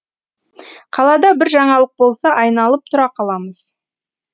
қалада бір жаңалық болса айналып тұра қаламыз